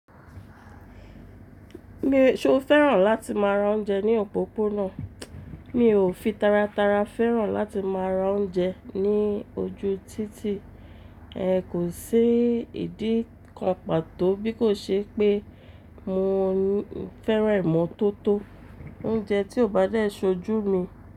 Mi ṣe o fẹ́ràn láti máa ra oúnjẹ ní òpópónà? Mi ò fi tara tara fẹ́ràn láti máa ra oúnjẹ ní ojú títì. Ehn kò sí ìdí kan pàtó bí kò ṣe pé mo fẹ́ràn ìmọ́tótó. Oúnjẹ tí o bá dé ṣojú mi.